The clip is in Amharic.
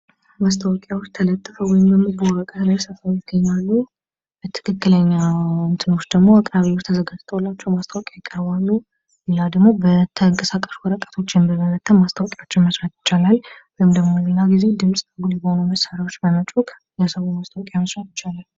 ማስታወቂያዎች ተፅፈው ወይም ደግሞ ተለጥፈው ይገኛሉ። በትክክለኛ ጣቢያዎች ቀርበውላቸው ይቀርባሉ።